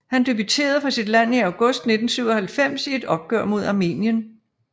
Han debuterede for sit land i august 1997 i et opgør mod Armenien